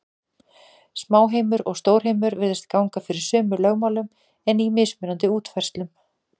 Smáheimur og stórheimur virðist ganga fyrir sömu lögmálum, en í mismunandi útfærslum.